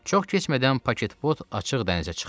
Çox keçmədən paketbot açıq dənizə çıxdı.